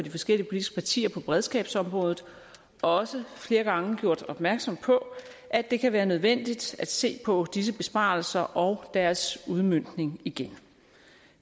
de forskellige politiske partier på beredskabsområdet også flere gange gjort opmærksom på at det kan være nødvendigt at se på disse besparelser og deres udmøntning igen